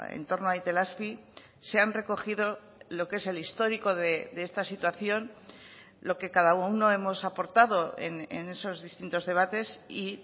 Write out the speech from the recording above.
en torno a itelazpi se han recogido lo que es el histórico de esta situación lo que cada uno hemos aportado en esos distintos debates y